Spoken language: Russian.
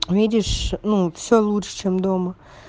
видишь ну все лучше чем дома